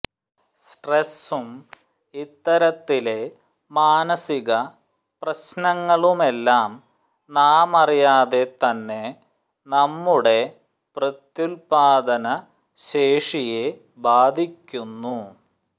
സ്ട്രെസും ഇത്തരത്തിലെ മാനസിക പ്രശ്നങ്ങളുമെല്ലാം നാമറിയാതെ തന്നെ നമ്മുടെ പ്രത്യുല്പാദന ശേഷിയെ ബാധിയ്ക്കുന്നു